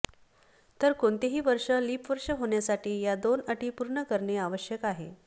तर कोणतेही वर्ष लीप वर्ष होण्यासाठी या दोन अटी पूर्ण करणे आवश्यक आहे